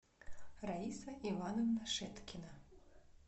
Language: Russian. раиса ивановна шеткина